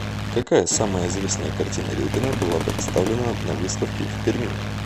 какая самая известная картина репина была представлена на выставке в перми